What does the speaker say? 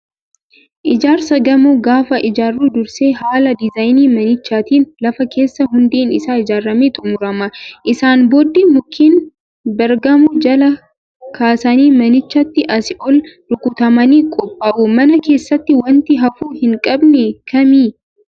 Ijaarsa gamoo gaafa ijaarru dursee haala diizaayinii manichaatiin lafa keessaa hundeen isaa ijaaramee xumurama. Isaan booddee mukkeen baargamoo jalaa kaasanii manichatti asii ol rukutamanii qophaa'u. Mana keessatti wanti hafuu hin qabne kamii?